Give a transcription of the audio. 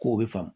Ko o bɛ faamu